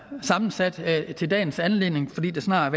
sammensat til dagens anledning fordi der snart